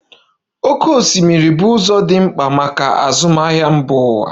Oké osimiri bụ ụzọ dị mkpa maka azụmahịa mba ụwa.